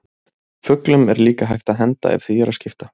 fuglum er líka hægt að henda ef því er að skipta